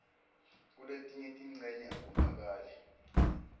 kuletinye tincenye akuvakali